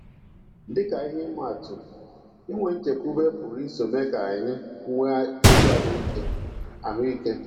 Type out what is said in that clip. Dị ka ihe atụ, inwe nchekwube pụrụ iso mee ka anyị nwee ezi ahụ́ ike. ahụ́ ike.